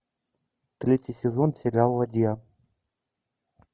третий сезон сериал ладья